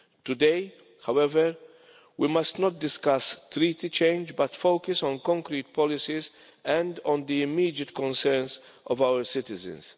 Today, however, we must not discuss treaty change but focus on concrete policies and on the immediate concerns of our citizens.